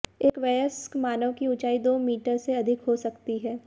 एक वयस्क मानव की ऊंचाई दो मीटर से अधिक हो सकती है